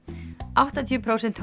áttatíu prósent